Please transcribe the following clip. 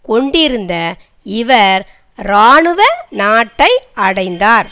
கொண்டிருந்த இவர் இராணுவ நாட்டை அடைந்தார்